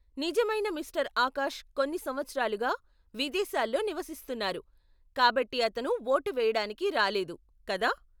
నిజమైన మిస్టర్ ఆకాష్ కొన్ని సంవత్సరాలుగా విదేశాల్లో నివసిస్తున్నారు, కాబట్టి అతను ఓటు వెయ్యడానికి రాలేదు, కదా ?